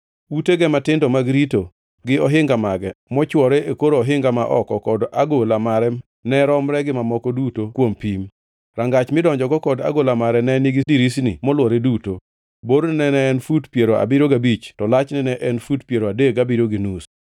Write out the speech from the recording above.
Utege matindo mag rito, gi ohinga mage mochwore e kor ohinga ma oko kod agola mare ne romre gi mamoko duto kuom pim. Rangach midonjogo kod agola mare ne nigi dirisni molwore duto. Borne ne en fut piero abiriyo gabich to lachne ne en fut piero adek gabiriyo gi nus.